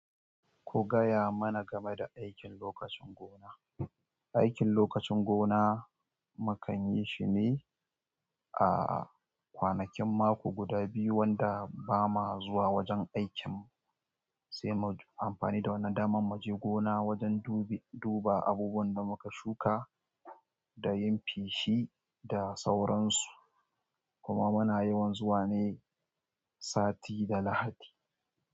Ku gaya mana game da aikin lokacin gona. Aikin lokacin gona mu kan yi shi ne a kwanakin mako guda biyu wanda ba ma zuwa wajen aikinmu, sai mu yi amfani da wannan damar mu je gona wajen duba abubuwan da muka shuka da yin feshi da sauransu. Kuma muna yawan zuwa ne sati da Lahadi.